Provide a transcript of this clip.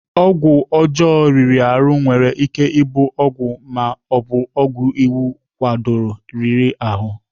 Ọgwụ ọjọọ riri ahụ nwere ike ịbụ ọgwụ ma ọ bụ ọgwụ iwu kwadoro riri ahụ.